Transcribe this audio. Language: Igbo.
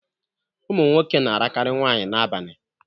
Ụmụnwoke na arakari nwaanyị na abani